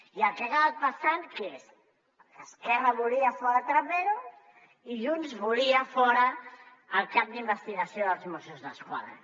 i el que ha acabat passant què és que esquerra volia fora trapero i junts volia fora el cap d’investigació dels mossos d’esquadra